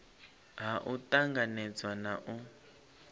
ha u tanganedza na u